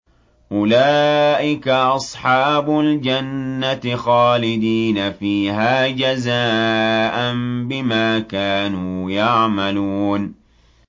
أُولَٰئِكَ أَصْحَابُ الْجَنَّةِ خَالِدِينَ فِيهَا جَزَاءً بِمَا كَانُوا يَعْمَلُونَ